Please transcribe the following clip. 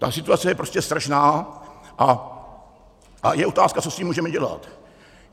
Ta situace je prostě strašná a je otázka, co s tím můžeme dělat.